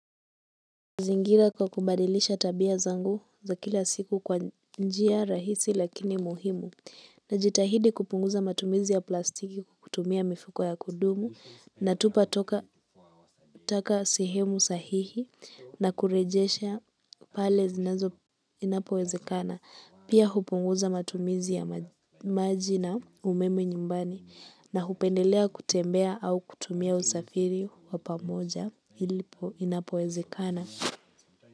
Zingira kwa kubadilisha tabia zangu za kila siku kwa njia rahisi lakini muhimu, najitahidi kupunguza matumizi ya plastiki kutumia mifuko ya kudumu, natupa taka taka sehemu sahihi na kurejesha pale zinazo inapowezekana, pia hupunguza matumizi ya maji na umeme nyumbani na hupendelea kutembea au kutumia usafiri wa pamoja inapowezekana.